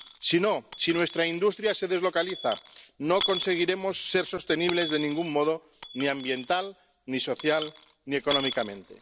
Sino, si nuestra industria se deslocaliza, no conseguiremos ser sostenibles de ningún modo, ni ambiental, ni social, ni económicamente.